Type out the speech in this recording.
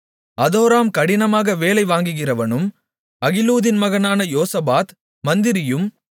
அதோராம் கடினமாக வேலை வாங்குகிறவனும் அகிலூதின் மகனான யோசபாத் மந்திரியும்